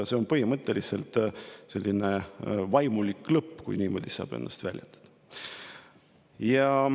See oleks põhimõtteliselt selline vaimulik lõpp, kui niimoodi saab ennast väljendada.